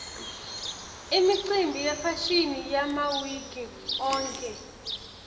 imicimbi yefashini yamauiki onkhe